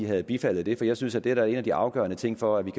havde bifaldet det for jeg synes da at det er en af de afgørende ting for at vi